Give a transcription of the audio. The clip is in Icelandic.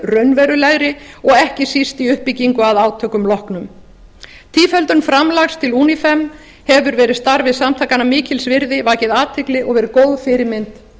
raunverulegri og ekki síst í uppbyggingu að átökum loknum tíföldun framlags til unifem hefur verið starfi samtakanna mikils virði vakið athygli og verið góð fyrirmynd